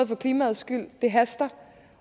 for klimaets skyld det haster